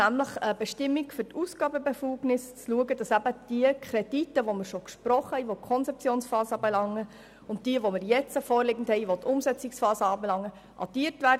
Zur Bestimmung der Ausgabenbefugnis sind die Kredite, welche wir schon gesprochen haben und welche die Konzeptionsphase betreffen, und die jetzt vorliegenden betreffend die Umsetzungsphase zu addieren.